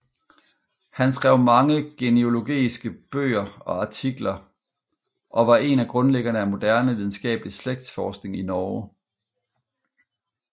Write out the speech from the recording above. Han skrev mange genealogiske bøger og artikler og var en af grundlæggerne af moderne videnskabelig slægtsforskning i Norge